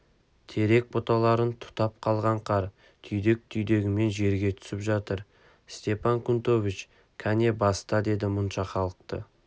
терек бұталарын тұтып қалған қар түйдек-түйдегімен жерге түсіп жатыр степан кнутович кәне баста деді мұнша халықты